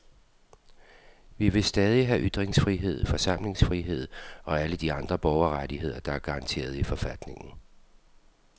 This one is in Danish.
Vi vil stadig have ytringsfrihed, forsamlingsfrihed og alle de andre borgerrettigheder, der er garanteret i forfatningen.